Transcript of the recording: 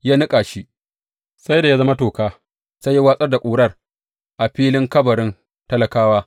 Ya niƙa shi sai da ya zama toka, sai ya watsar da ƙurar a filin kabarin talakawa.